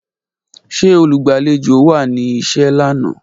Ṣe olugbalejo wa ni iṣẹ lana?